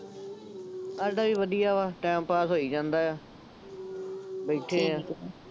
ਸਾਡਾ ਵੀ ਵਧੀਆ ਵ time pass ਹੋਈ ਜਾਂਦਾ ਆ, ਬੈਠੈ ਹਾਂ।